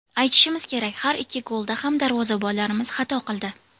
Aytishimiz kerak, har ikki golda ham darvozabonlarimiz xato qildi.